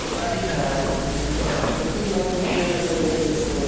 party হ্যাঁ আগের থেকে ঠিক করা থাকবে কিংবা তুমি যেটা কইলে export